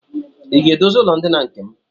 I ga-edozi ụlọndina nke m?